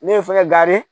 Ne ye fɛngɛ